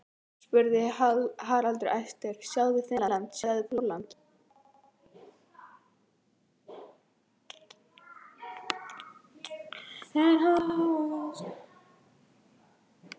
spurði Haraldur æstur, sjáðu Finnland, sjáðu Pólland.